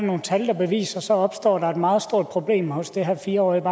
nogle tal der beviser så opstår et meget stort problem hos det her fire årige